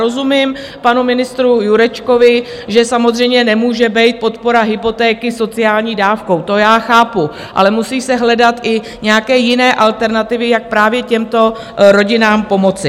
Rozumím panu ministru Jurečkovi, že samozřejmě nemůže být podpora hypotéky sociální dávkou, to já chápu, ale musí se hledat i nějaké jiné alternativy, jak právě těmto rodinám pomoci.